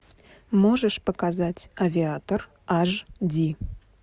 можешь показать авиатор аш ди